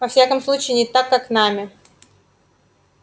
во всяком случае не так как нами